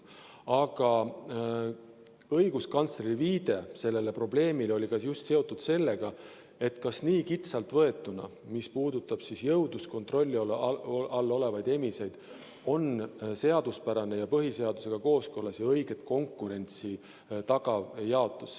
Aga õiguskantsleri viide sellele probleemile oli just seotud sellega, et kas nii kitsalt võetuna, mis puudutab jõudluskontrolli all olevaid emiseid, on see jaotus seaduspärane ja põhiseadusega kooskõlas ja õiget konkurentsi tagav.